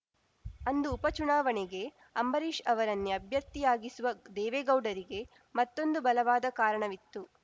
ಅಂದು ಉಪಚುನಾವಣೆಗೆ ಅಂಬರೀಷ್‌ ಅವರನ್ನೇ ಅಭ್ಯರ್ಥಿಯಾಗಿಸುವ ದೇವೇಗೌಡರಿಗೆ ಮತ್ತೊಂದು ಬಲವಾದ ಕಾರಣವಿತ್ತು